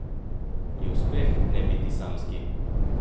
Je uspeh ne biti samski?